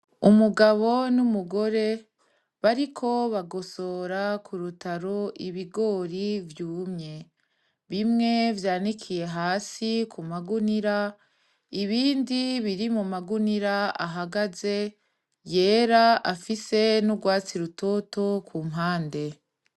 Umugabo n'umugore bariko bagosora k'urutaro ibigori vyumye, bimwe vyanikiye hasi ku magunira, ibindi biri mu magunira ahagaze yera afise n'ugwatsi rutoto ku mpande.